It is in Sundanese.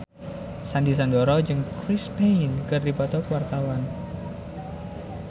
Sandy Sandoro jeung Chris Pane keur dipoto ku wartawan